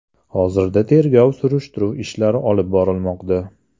Hozirda tergov surishtiruv ishlari olib borilmoqda.